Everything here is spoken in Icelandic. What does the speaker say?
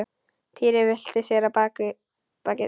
Týri velti sér á bakið.